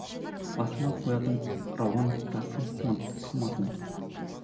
басыма қоятын рауан тасым сынып қалмасын